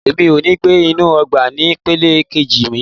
Mo ò ní gbé inú ọgbà ní ìpele kejì mi.